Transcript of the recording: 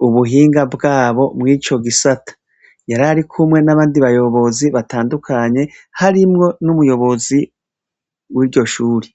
kubuhinga bwabo mwico gisata. Yararikumwe nabandi bayobozi batandukanye harimwo n'umuyobizi wiryo shure.